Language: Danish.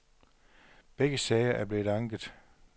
Begge sager er blevet anket.